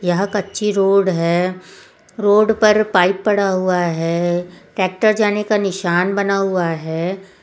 यह कच्ची रोड है रोड पर पाइप पड़ा हुआ है ट्रैक्टर जाने का निशान बना हुआ है।